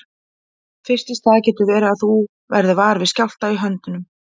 Fyrst í stað getur verið að þú verðir var við skjálfta í höndum.